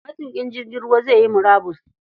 Matuƙin jirgin ruwa zai yi murabus.